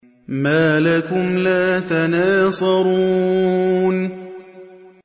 مَا لَكُمْ لَا تَنَاصَرُونَ